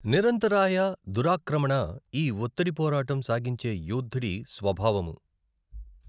నిరంతరాయ దురాక్రమణ ఈ ఒత్తిడిపోరాటం సాగించే యోద్ధుడి స్వభావము.